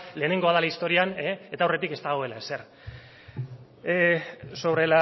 lehenengoa dela historian eta aurretik ez dagoela ezer sobre